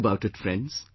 Think about it friends